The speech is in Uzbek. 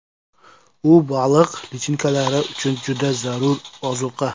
U baliq lichinkalari uchun juda zarur ozuqa.